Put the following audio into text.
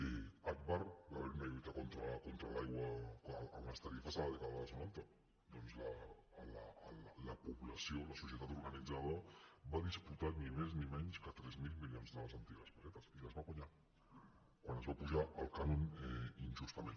a agbar va haver hi una lluita contra l’aigua en les tarifes en la dècada dels noranta doncs la població la societat organitzada va disputar ni més ni menys que tres mil milions de les antigues pessetes i les va guanyar quan es va apujar el cànon injustament